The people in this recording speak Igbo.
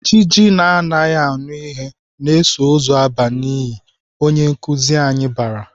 Ijiji na-anaghị anụ ihe na-eso ozu aba n'ili!"Onye nkuzi anyị bara.